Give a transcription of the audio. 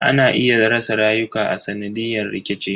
Ana iya rasa rayuka a sanadiyan rikici.